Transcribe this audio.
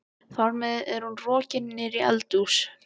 Þar með er hún rokin niður í eldhús.